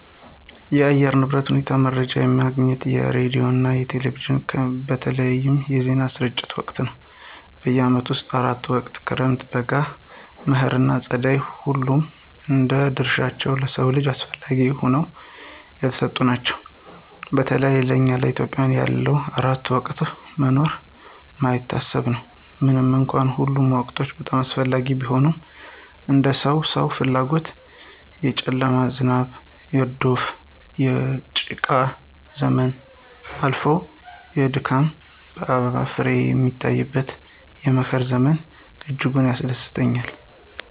የአየር ንብረት ሁኔታ መረጃ የማገኘው ከሬዲዮና ከቴሌቪዥን በሚተላለፉ የዜና ስርጭት ወቅት ነው። በዓመቱ ውስጥ አራት ወቅቶች ክረምት፣ በጋ፣ መኸር ና ፀደይ ሁሉም እንደየ ድርሻቸው ለሰው ልጆች አስፈለጊ ሁነው የተሰጡን ናቸው። በተለይ ለእኛ ኢትዮጵያውያን ያለ አራቱ ወቅቶች መኖር የማይታሰብ ነው። ምንም እንኳን ሁሉም ወቅቶች በጣም አስፈላጊ ቢሆኑም እንደ ሰው ሰዎኛ ፍላጎት የጨለማው፣ የዝናብ፣ የዶፍ፣ የጭቃው ዘመን አልፎ የድካም አበባና ፍሬ የሚታይበት የመኸር ዘመን እጅጉን ያስደስተኛል።